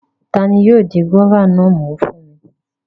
Tani yóò di gúróvà náà mú fún mi?